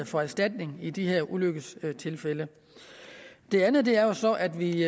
få erstatning i de her ulykkestilfælde det andet er jo så at vi